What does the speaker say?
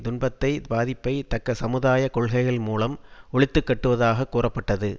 துன்பத்தை பாதிப்பை தக்க சமுதாய கொள்கைகள் மூலம் ஒழித்துக்கட்டுவதாகக் கூறப்பட்டது